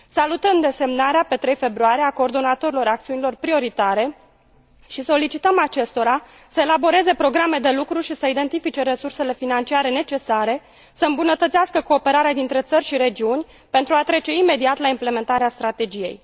Salutăm desemnarea, pe 3 februarie, a coordonatorilor acțiunilor prioritare și solicităm acestora să elaboreze programe de lucru și să identifice resursele financiare necesare, să îmbunătățească cooperarea dintre țări și regiuni pentru a trece imediat la implementarea strategiei.